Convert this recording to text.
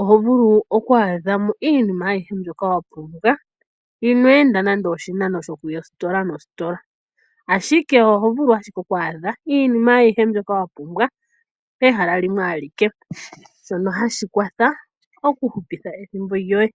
oho vulu oku adha mo iinima ayihe mbyoka wapumbwa inweenda nande oshinano okuya oositola noositola, ashike oho vulu ashike oku adha iinima ayihe mbyoka wapumbwa pehala limwe alike, shono hashi kwatha oku hupitha ethimbo lyoye.